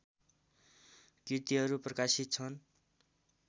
कृतिहरू प्रकाशित छन्